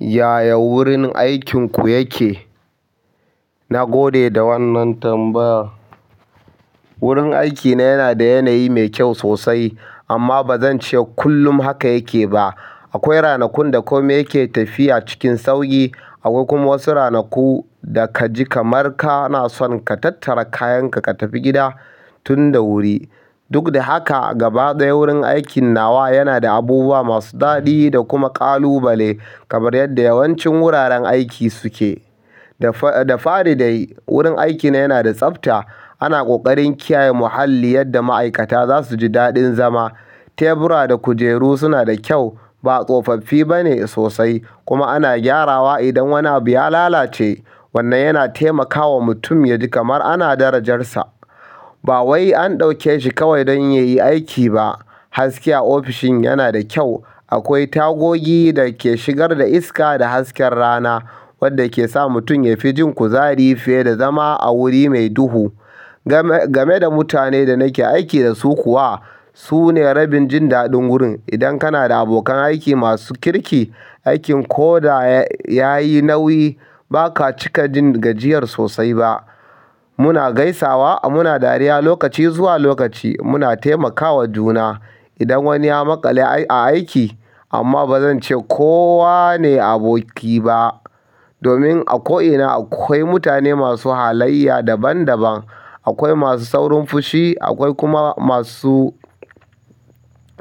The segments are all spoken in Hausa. Yaya wurin aikinku yake? Na gode da wannan tambaya. Wurin aikina yana da yanayi mai kyau sosai amma ba zan ce kullum haka yake ba. Akwai ranakun da komai yake tafiya cikin sauƙi, akwai kuma wasu ranaku da ka ji kamar ka na son ka tattara kayanka ka tafi gida tun da wuri. Duk da haka, gaba ɗaya wurin aikin nawa yana da abubuwa masu daɗi da kuma ƙalubale kamar yadda yawancin wuraren aiki suke. Da fa da fari dai wurin aikina yana da tsafta. Ana ƙoƙarin kiyaye muhalli yadda ma'aikata za su ji daɗin zama. Tebura da kujeru suna da kyau, ba tsofaffi bane sosai kuma ana gyarawa idan wani abu ya lalace. Wannan yana taimakawa mutum ya ji kamar ana darajarsa. Ba wai an ɗauke shi kawai don ya yi aiki ba. Haske a ofishin yana da kyau. Akwai tagogi da ke shigar da iska da hasken rana wadda ke sa mutum ya fi jin kuzari fiye da zama a wuri mai duhu. Game-game da mutane da nake aiki da su kuwa, su ne rabin jin daɗin wurin. Idan kana da abokan aiki masu kirki, aikin ko da ya yi nauyi ba ka cika jin gajiyar sosai ba. Muna gaisawa, muna dariya lokaci zuwa lokaci, muna taimakawa juna idan wani ya maƙale a aiki. Amma ba zan ce kowa ne aboki ba. Domin a ko'ina akwai mutane masu halaiy daban daban. Akwai masu saurin fushi akwai kuma masu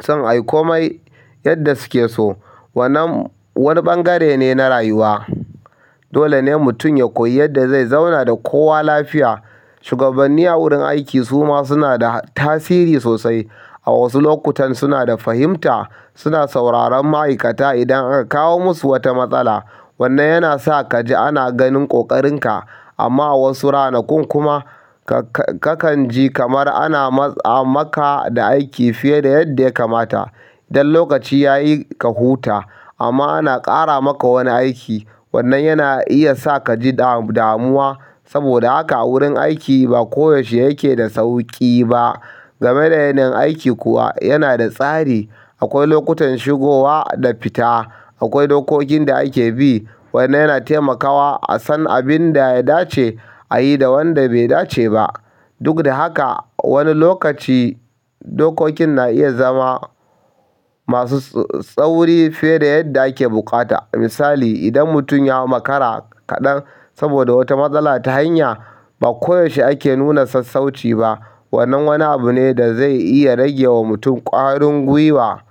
son ayi komai yanda suke so. Wannan wani ɓangare ne na rayuwa. Dole ne mutum ya koyi yadda zai zauna da kowa lafiya. Shugabanni a wurin aiki suma suna da tasiri sosai. A wasu lokutan suna da fahimta, suna sauraron ma'aikata idan aka kawo musu wata matsala. Wannan yana sa ka ji ana ganin ƙoƙarinka. Amma a wasu ranakun kuma ka-ka kan ji kamar ana matsa maka da aiki fiye da yadda ya kamata. Dan lokaci ya yi ka huta amma ana ƙara maka wani aiki. Wannan yana iya sa kaji damuwa saboda haka wurin aiki ba kodai yaushe yake da sauƙi ba game da yanayin aiki kuwa, yana da tsari. Akwai lokutan shigowa da fita, akwai dokokin da ake bi wanda yana taimakawa a san abin da ya dace a yi da wanda bai dace ba. Duk da haka, wani lokaci dokokin na iya zama masu tsauri fiye da yadda ake buƙata. Misali, idan mutum ya makara kaɗan saboda wata matsala ta hanya, ba koyaushe ake nuna sassauci ba. Wannan wani abu ne da zai iya rage wa mutum ƙwarin gwiwa.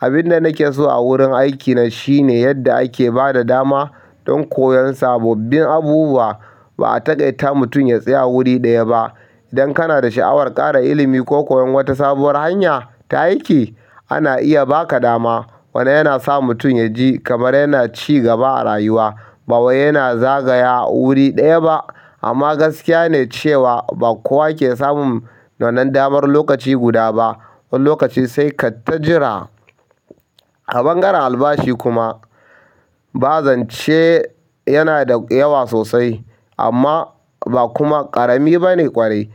Abin da nake so a wurin aikina shine yadda ake ba da dama don koyon sabobbin abubuwa. Ba a taƙaita mutum ya tsaya a wuri ɗaya ba. Idan kana da sha'awar ƙara ilimi ko koyon wata sabuwar hanya ta aiki, ana iya ba ka dama. Wannan yana sa mutum ya ji kamar yana ci gaba a rayuwa. Ba wai yana zagaya a wuri ɗaya ba. Amma gaskiya ne cewa ba kowa ke samun wannan damar lokaci guda ba. Wani lokaci sai ka tajira. A ɓangaren albashi kuma, ba zan ce yana da yawa sosai amma ba kuma ƙarami bane ƙwarai.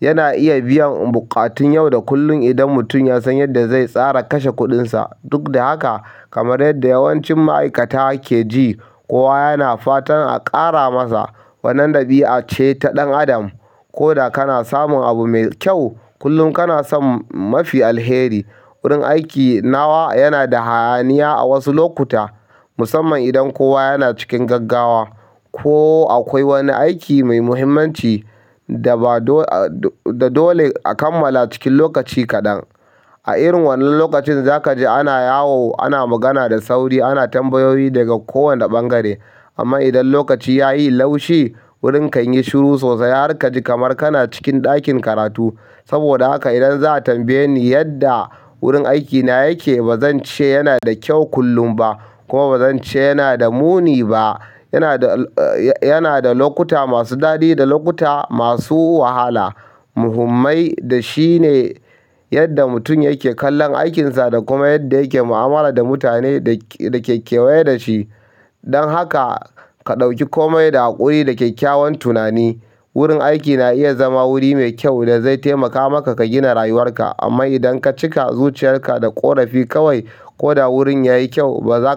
Yana iya biyan buƙatun yau da kullum idan mutum ya san yadda zai tsara kashe kuɗinsa. Duk da haka, kamar yadda yawancin ma'aikata ke ji, kowa yana fatan a ƙara masa. Wannan ɗabi'a ce ta ɗan adam. Ko da kana samun abu mai kyau, kullum kana son mafi alheri. Wurin aiki nawa yana da hayaniya a wasu lokuta musamman idan kowa yana cikin gaggawa ko akwai wani aiki mai muhimmanci da ba dole a kammala cikin lokaci kaɗan. A irin wannan lokacin za ka ji ana yawo, ana magana da sauri, ana tambayoyi daga kowane ɓangare. Amma idan lokaci yayi laushi wuri kanyi shiru sosai har kaji kamar kana cikin ɗakin karatu saboda haka idan za a tambaye ni yadda wurin aikina yake, ba zan ce yana da kyau kullum ba kuma ba zan ce yana da muni ba. Yana da, yana da lokuta masu daɗi da lokuta masu wahala. Muhimmai da shi ne yadda mutum yake kallon aikinsa da kuma yadda yake mu'amala da mutanen da ke-da ke kewaye da shi. Dan haka ka ɗauki komai da haƙuri da kyakkyawan tunani. Wurin aiki na iya zama wuri mai kyau da zai taimaka maka ka gina rayuwarka. Amma idan ka cika zuciyarka da ƙorafi kawai ko da wurin ya yi kyau, ba za ka.